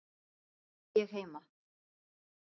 Þar var ég heima.